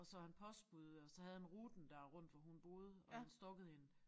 Og så han postbud og så havde han ruten der rundt hvor hun boede hvor han stalkede hende